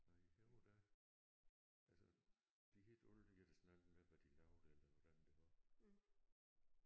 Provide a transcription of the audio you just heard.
Nej i Højer der altså de hed altid et eller andet med hvad de lavede eller hvordan det var